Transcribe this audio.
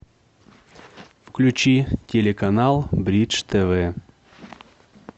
включи телеканал бридж тв